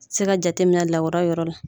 Se ka jate minɛ lawura yɔrɔ la.